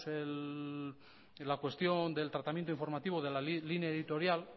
la cuestión del tratamiento informativo de la línea editorial